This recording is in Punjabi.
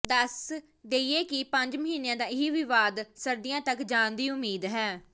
ਦੱਸ ਦੇਈਏ ਕਿ ਪੰਜ ਮਹੀਨਿਆਂ ਦਾ ਇਹ ਵਿਵਾਦ ਸਰਦੀਆਂ ਤੱਕ ਜਾਣ ਦੀ ਉਮੀਦ ਹੈ